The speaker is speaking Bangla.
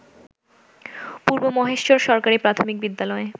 পূর্ব মহেশচর সরকারি প্রাথমিক বিদ্যালয়